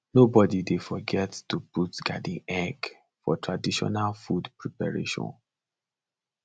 nobody dey forget to put garden egg for traditional food preparation